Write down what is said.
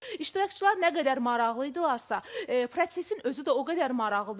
İştirakçılar nə qədər maraqlı idilərsə, prosesin özü də o qədər maraqlıdır.